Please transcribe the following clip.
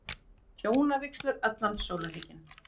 Hjónavígslur allan sólarhringinn